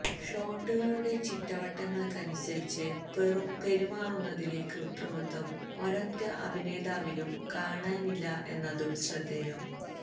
ഷോട്ടുകളുടെ ചിട്ടവട്ടങ്ങൾക്കനുസരിച്ച് പെരുമാറുന്നതിലെ കൃത്രിമത്വം ഒരൊറ്റ അഭിനേതാവിലും കാണാനില്ല എന്നതും ശ്രദ്ധേയം